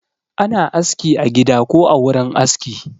Ana aski a gida ko a wurin aski